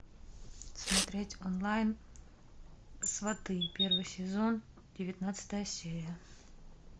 смотреть онлайн сваты первый сезон девятнадцатая серия